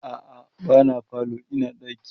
a'a ba na falo Ina ɗaki